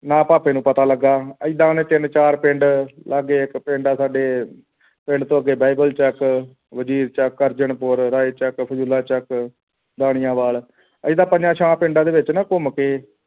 ਨਾ ਭੁਪਾ ਨੂੰ ਪਤਾ ਲੱਗਿਆ ਏਦਾਂ ਉਸ ਨੇ ਤਿੰਨ ਚਾਰ ਪਿੰਡ ਲਾਗੇ ਇੱਕ ਪਿੰਡ ਹੈ ਸਾਡੇ ਪਿੰਡ ਘੱਗੇ ਬਾਈਬਲ ਚੱਕ ਵਜੀਰ ਚੱਕ ਅਰਜਨ ਪੂਰ ਰਾਏ ਚੱਕ ਫੁੱਲਾਂ ਚੱਕ ਦਾਣਿਆ ਵਾਲ ਏਦਾਂ ਪੰਜਾਂ ਛਿਆਂ ਪਿੰਡਾਂ ਦੇ ਵਿੱਚ ਨਾ ਘੁੰਮ ਕੇ